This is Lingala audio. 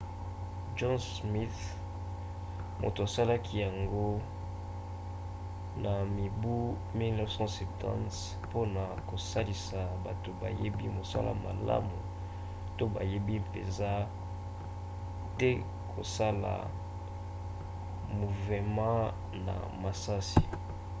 john smith moto asalaki yango na mibu 1970 mpona kosalisa bato bayebi mosala malamu to bayebi mpenza te kosala muvema na misisa